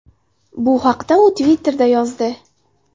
Bu haqda u Twitter’da yozdi .